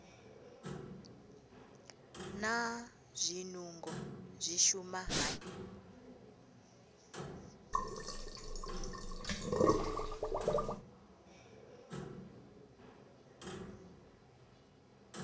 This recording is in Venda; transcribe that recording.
naa zwinungo zwi shuma hani